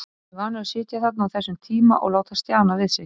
Hann er vanur að sitja þarna á þessum tíma og láta stjana við sig.